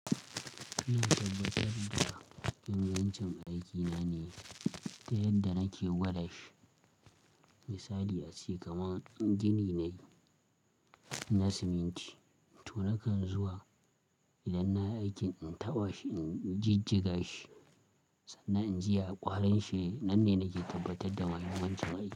Ina tabbatar da ingancin aikina ne ta yadda nake gwada shi. Misali a ce kaman gini nayi na siminti, to nakan zuwa idan na yi aikin in taba shi, inji jiga shi sannan inji ya ƙwarin shi yake. Nan ne nake tabbatar da mahimmancin aiki.